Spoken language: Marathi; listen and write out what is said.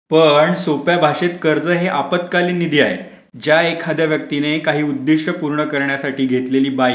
पण सोप्या भाषेत कर्ज हे आपत्कालीन निधी आहे ज्या एखाद्या व्यक्तीने काही उद्दिष्ट पूर्ण करण्यासाठी घेतलेली